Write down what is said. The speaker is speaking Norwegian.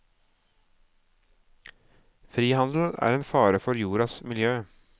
Frihandel er en fare for jordas miljø.